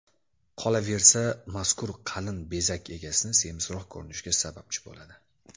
Qolaversa, mazkur qalin bezak egasini semizroq ko‘rinishiga sababchi bo‘ladi.